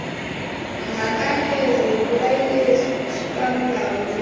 ngakane re bolaile tsupamolomo re